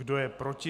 Kdo je proti?